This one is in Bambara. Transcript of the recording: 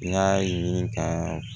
N y'a ɲini ka